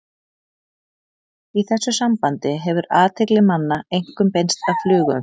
Í þessu sambandi hefur athygli manna einkum beinst að flugumferð.